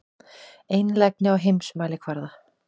Einlægni á heimsmælikvarða.